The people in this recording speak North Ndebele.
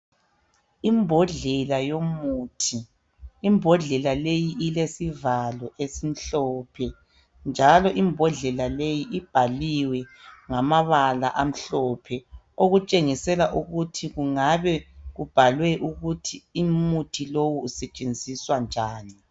Imbodlela yomuthi , imbodlela leyi ilesivalo esimhlophe njalo imbodlela leyi ibhaliwe ngamabala amhlophe okutshengisela ukuthi kungabe kubhaliwe ukuthi umuthi lowu usetshenziswa njani